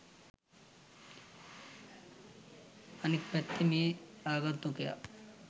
අනික් පැත්තෙන් මේ ආගන්තුකයා